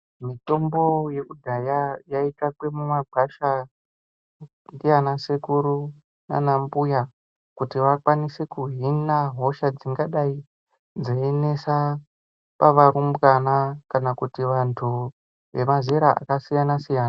Mitombo yekudhaya yai tsvakwe mu magwasha ndiana sekuru nana mbuya kuti vakwanise kuhina hosha dzingadai dzei nesa pa varumbwana kana kuti vantu ve mazera aka siyana siyana.